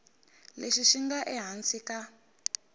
lexi xi nga ehansi ka